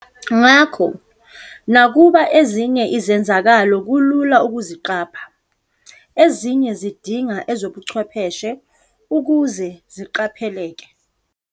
Ngakho, nakuba ezinye izenzakalo kulula ukuziqapha, ezinye zidinga ezobuchwepheshe ukuze ziqapheleke.